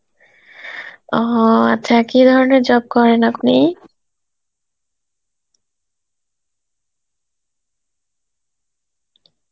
ও আচ্ছা, কী ধরনের job করেন আপনি?